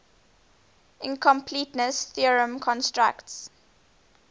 incompleteness theorem constructs